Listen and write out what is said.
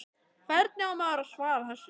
Hvernig á maður að svara þessu?